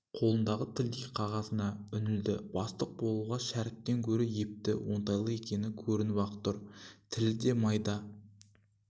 қолындағы тілдей қағазына үңілді бастық болуға шәріптен гөрі епті оңтайлы екені көрініп-ақ тұр тілі де майда